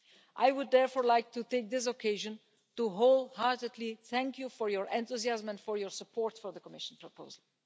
I would therefore like to take this occasion to wholeheartedly thank you for your enthusiasm and for your support for the Commission's proposal.